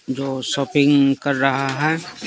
Shopping कर रहा है।